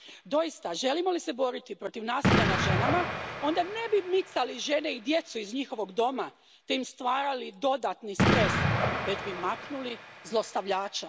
Doista, želimo li se boriti protiv nasilja nad ženama, onda ne bismo micali žene i djecu iz njihovog doma te im stvarali dodatni stres, već bismo maknuli zlostavljača.